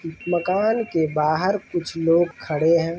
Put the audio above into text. मकान के बाहर कुछ लोग खड़े है।